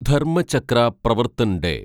Dharmachakra Pravartan day